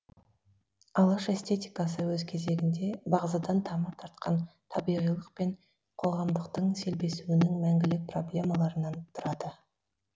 алаш эстетикасы өз кезегінде бағзыдан тамыр тартқан табиғилық пен қоғамдықтың селбесуінің мәңгілік проблемаларынан тұрады